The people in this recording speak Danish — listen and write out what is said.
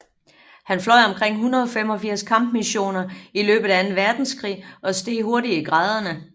Han fløj omkring 185 kampmissioner i løbet af anden verdenskrig og steg hurtigt i graderne